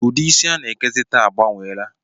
Ụdị isi a na-ekezi taa agbanweela